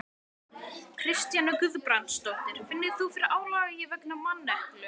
Kristjana Guðbrandsdóttir: Finnur þú fyrir álagi vegna manneklu?